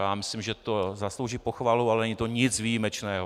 Já myslím, že to zaslouží pochvalu, ale není to nic výjimečného.